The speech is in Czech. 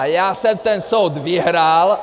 A já jsem ten soud vyhrál!